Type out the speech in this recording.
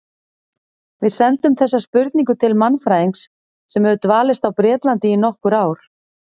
Við sendum þessa spurningu til mannfræðings sem hefur dvalist á Bretlandi í nokkur ár.